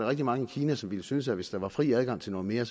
rigtig mange i kina som ville synes at hvis der var fri adgang til noget mere